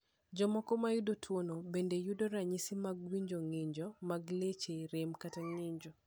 Jomoko ma oyudo tuwono bende yudo ranyisi mag winjo, ng’injo mag leche, rem, kata ng’injo.